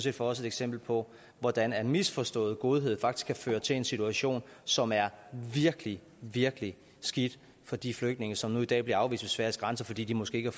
er for os et eksempel på hvordan misforstået godhed faktisk kan føre til en situation som er virkelig virkelig skidt for de flygtninge som nu i dag bliver afvist ved sveriges grænser fordi de måske ikke